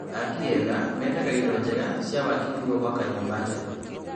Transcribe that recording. Aki ega mendaga indo njega cia waki nĩguo gwaka nyũmba njega